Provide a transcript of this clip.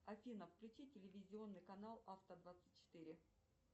афина включи телевизионный канал авто двадцать четыре